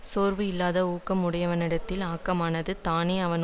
சோர்வு இல்லாத ஊக்கம் உடையவனிடத்தில் ஆக்கமானது தானே அவன்